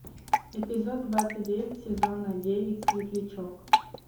эпизод двадцать девять сезона девять светлячок